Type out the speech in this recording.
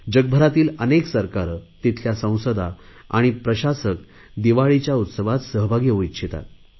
जगभरातील अनेक सरकारे तेथील संसदा आणि प्रशासक दिवाळीच्या उत्सवात सहभागी होऊ इच्छितात